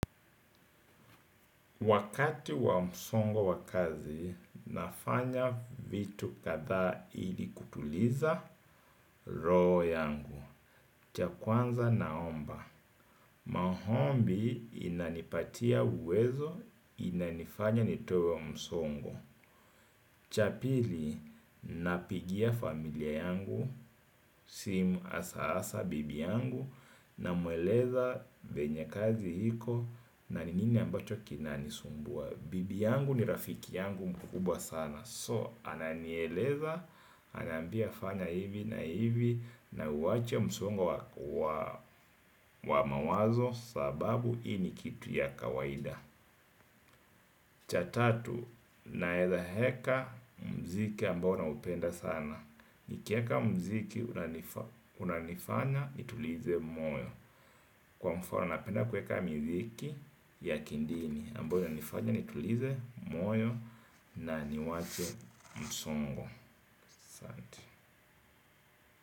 Wakati wa msongo wa kazi, nafanya vitu kadha ili kutuliza roho yangu. Cha kwanza naomba. Maombi inanipatia uwezo, inanifanya nitoe msongo. Cha pili, napigia familia yangu, simu asa asa bibi yangu, na mueleza venye kazi hiko na ni nini ambacho kinani sumbua. Bibi yangu ni rafiki yangu mkubwa sana So, ananieleza, anambia fanya hivi na hivi. Na uwache msongo wa mawazo. Sababu, hii ni kitu ya kawaida. Cha tatu, na heka mziki ambao na upenda sana. Nikieka mziki, unanifanya, nitulize moyo. Kwa mfano, napenda kweka mziki ya kidini amboyo inanifanya ni tulize moyo na niwache msongo aSaanti.